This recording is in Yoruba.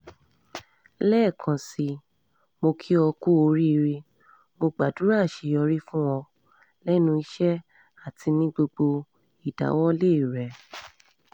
lẹ́ẹ̀kan sí i mọ́ kí o kú oríire mọ́ gbàdúrà àṣeyọrí fún ọ lẹ́nu iṣẹ́ àti ní gbogbo ìdáwọ́lé rẹ